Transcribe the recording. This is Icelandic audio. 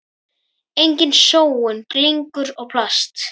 Engin sóun, glingur og plast.